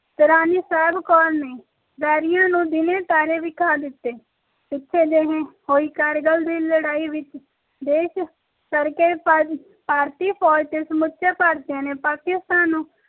ਤੇ ਰਾਣੀ ਸਾਹਿਬ ਕੌਰ ਨੇ ਵੈਰੀਆਂ ਨੂੰ ਦੀਨੇ ਤਾਰੇ ਵਿਖਾ ਦਿੱਤੇ ਪਿੱਛੇ ਝੀ ਹੋਈ ਕਾਰਗਿਲ ਦੀ ਲੜਾ ਵਿਚ ਵਿਸ਼ੇਸ਼ ਕਰਕੇ ਭਾਰਤੀ ਫੌਜ ਵਿਚ ਸਮੁਚੇ ਭਾਰਤੀਆਂ ਨੇ ਪਾਕਿਸਤਾਨ ਨੂੰ